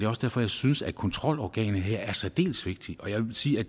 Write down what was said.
også derfor jeg synes at kontrolorganet her er særdeles vigtigt og jeg vil sige at